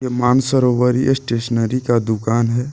Mansarovar stationery का दुकान है।